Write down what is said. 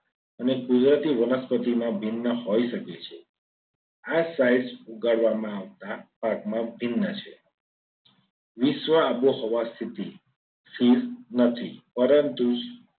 અને કુદરતી વનસ્પતિઓમાં ભિન્ન હોઈ શકે છે. આ sides ઉગાડવામાં આવતા પાકમાં ભિન્ન છે. વિશ્વ આબોહવા સ્થિતિ સ્થિર નથી. પરંતુ